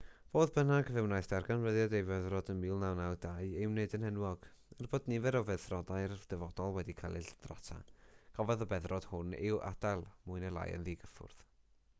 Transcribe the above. fodd bynnag fe wnaeth darganfyddiad ei feddrod ym 1922 ei wneud yn enwog er bod nifer o feddrodau'r dyfodol wedi cael eu lladrata cafodd y beddrod hwn ei adael mwy neu lai yn ddigyffwrdd